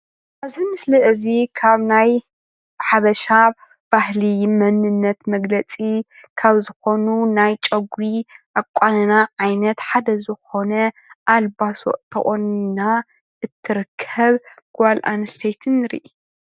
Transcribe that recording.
ኣብዚ ምስሊ እዚ ካብ ናይ ሓበሻ ባህሊ መንነት መግለፂ ካብ ዝኮኑ ናይ ጨጉሪ ኣቋንና ዓይነት ሓደ ዝኮነ ኣልባሶ ተቆኒና እትርከብ ጓል ኣንስተይቲ ንርኢ፡፡